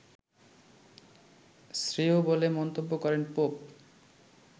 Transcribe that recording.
শ্রেয় বলে মন্তব্য করেন পোপ